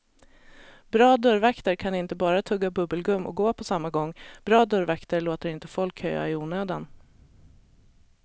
Bra dörrvakter kan inte bara tugga bubbelgum och gå på samma gång, bra dörrvakter låter inte folk köa i onödan.